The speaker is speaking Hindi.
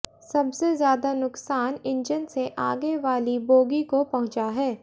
सबसे ज्यादा नुकसान इंजन से आगे वाली बोगी को पहुंचा है